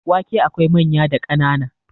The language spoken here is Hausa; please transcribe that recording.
wake akwai manya da kanan